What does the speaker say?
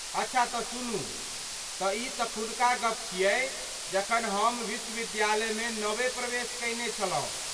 अच्छा त सुनू , तऽ ई तखुनका गप छियै जखन हम विश्वविद्यालय मे नबे प्रवेश कयने छलहुँ।